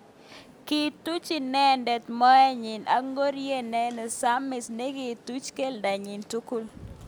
Kituch inendet mot nyi ak ngoriet nesamis nekituch keldo nyi tugul.